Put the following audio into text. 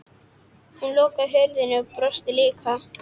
Hún lokar hurðinni og brosir líka.